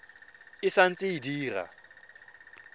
e sa ntse e dira